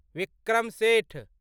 Vikram Seth